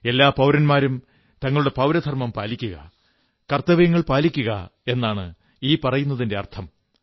എല്ലാ പൌരന്മാരും തങ്ങളുടെ പൌരധർമ്മം പാലിക്കുക കർത്തവ്യങ്ങൾ പാലിക്കുക എന്നാണ് ഈ പറയുന്നതിന്റെ അർഥം